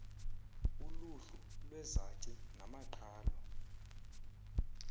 uluhlu lwezaci namaqhalo